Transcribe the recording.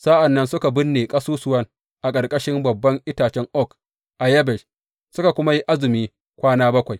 Sa’an nan suka binne ƙasusuwan a ƙarƙashin babban itace oak a Yabesh, suka kuma yi azumi kwana bakwai.